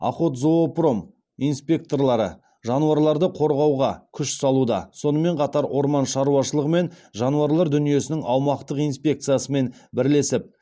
охотзоопром инспекторлары жануарларды қорғауға күш салуда сонымен қатар орман шаруашылығы мен жануарлар дүниесінің аумақтық инспекциясымен бірлесіп